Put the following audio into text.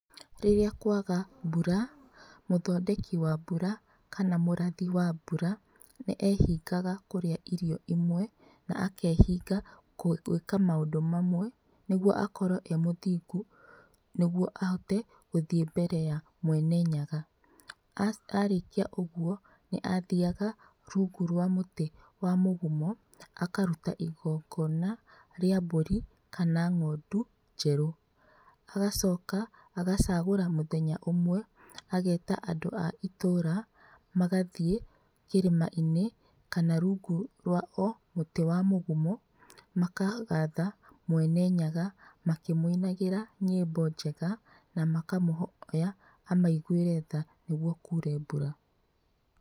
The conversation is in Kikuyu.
Rĩrĩa kwaga mbũra mũthondeki wa mbura kana mũrathi wa mbura nĩehingaga kũrĩa irio imwe na akehinga gwĩka maũndũ mamwe nĩguo akorwo e mũthingu nĩguo ahote gũthiĩ mbere ya Mwene Nyaga. Arĩkia ũguo nĩathiyaga rungu wa mũtĩ wa mũgumo akaruta igongona rĩa mbũri kana ng'ondu njerũ agacoka agacagũra mũthenya ũmwe ageta andũ a itũũra magathiĩ kĩrĩma-inĩ kana rungu rwa o mũti wa mũgumo makagatha Mwene Nyaga makĩmwĩnagĩra nyĩmbo njega na makamũhoya amaiguĩre tha nĩguo kuure mbura.